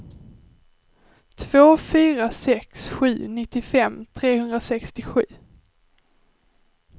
två fyra sex sju nittiofem trehundrasextiosju